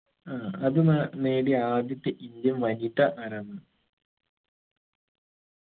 ആ അത് നാ നേടിയ ആദ്യത്തെ indian വനിത ആരാന്ന്